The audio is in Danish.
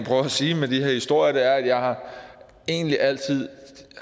sige med de her historier er at jeg egentlig altid